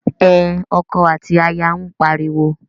Ẹn, ọkọ àti aya ń pariwo.